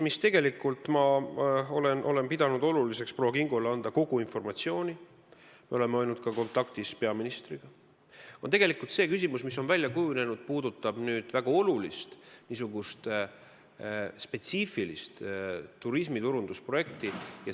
Üks küsimus – ma olen pidanud oluliseks anda proua Kingole kogu informatsioon, me oleme olnud ka kontaktis peaministriga – puudutab väga olulist ja spetsiifilist turismiturundusprojekti.